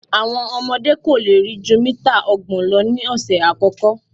Àwọn ọmọdé́ kò lè rí jú mítà ọgbọ̀n lọ ní ọ̀sẹ̀ àkọ́kọ́.